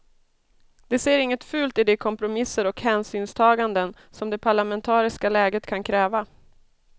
De ser inget fult i de kompromisser och hänsynstaganden som det parlamentariska läget kan kräva.